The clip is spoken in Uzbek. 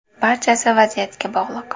Barchasi vaziyatga bog‘liq.